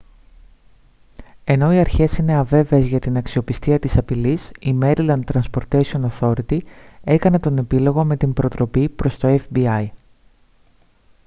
ενώ οι αρχές είναι αβέβαιες για την αξιοπιστία της απειλής η maryland transportation authority έκανε τον επίλογο με την προτροπή προς το fbi